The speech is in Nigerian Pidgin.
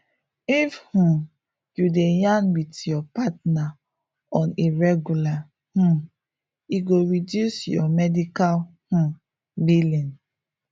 if um you dey yarn with your partner on a regular um e go reduce your medical um billing